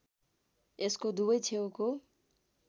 यसको दुवै छेउको